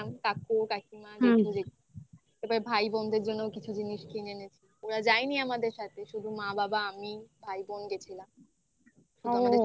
কাকু, কাকিমা. হ্যাঁ এবার ভাই বোনদের জন্য কিছু জিনিস কিনে এনেছি. ওরা যায়নি আমাদের সাথে. শুধু মা, বাবা, আমি, ভাই বোন গেছিলাম